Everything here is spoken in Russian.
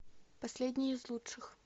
последний из лучших